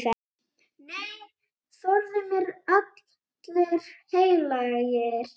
Nei, forði mér allir heilagir.